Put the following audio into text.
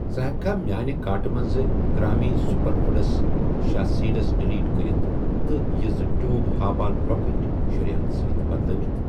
ژٕ ہیٚکھا میانہِ کارٹہٕ مَنٛز گرٛامی سوٗپرفوٗڈس شیا سیٖڈس ڈِلیٖٹ کٔرِتھ تہٕ یہِ زٕ ٹیوٗب ہاپا لۄکٕٹۍ شُرۍھٮ۪ن سۭتۍ بدلٲوِتھ